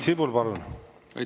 Priit Sibul, palun!